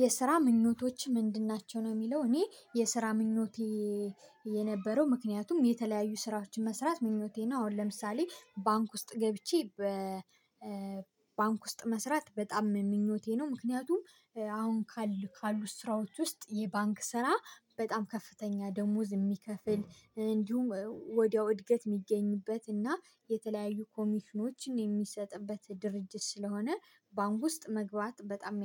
የስራ ምኞቶችህ ምንድን ናቸው? ነው የሚለው እኔ የስራ ምኞቴ የነበረው ምክንያቱም የተለያዩ ስራዎችን መስራት ምኞቴ ነው። አሁን ለምሳሌ ባንክ ውስጥ ገብቼ በ ባንክ ውስጥ መስራት በጣም ምኞቴ ነው። ምክንያቱም አሁን ካሉ ስራዎች ውስጥ ይሄ ባንክ ስራ በጣም ከፍተኛ ደሞዝ የሚከፍል እንዲሁም ወዲያው እድገት የሚገኝበት እና የተለያዩ ኮሚሽኖች የሚሰጥበት ድርጅት ስለሆነ ባንክ ውስጥ መግባት በጣም